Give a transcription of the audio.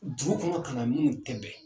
Dugu kɔnɔ ka na minnu tɛ bɛn